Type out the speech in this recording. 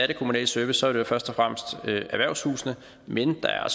den kommunale service er det jo først og fremmest erhvervshusene men der er